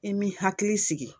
I m'i hakili sigi.